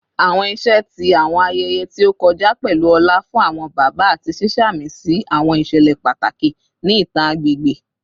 Awọn iṣẹ ti awọn ayẹyẹ ti o kọja pẹlu ọlá fun awọn baba ati ṣiṣamisi awọn iṣẹlẹ pataki ni itan agbegbe